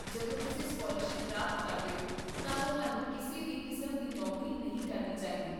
ਜਦੋਂ ਤੁਸੀਂ ਸਕਾਲਰਸ਼ਿਪ ਪ੍ਰਾਪਤ ਕਰਦੇ ਹੋ ਤਾਂ ਤੁਹਾਨੂੰ ਕਿਸੇ ਵੀ ਕਿਸਮ ਦੀ ਨੌਕਰੀ ਨਹੀਂ ਕਰਨੀ ਚਾਹੀਦੀ